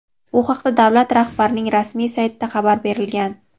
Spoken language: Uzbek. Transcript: Bu haqda davlat rahbarining rasmiy saytida xabar berilgan.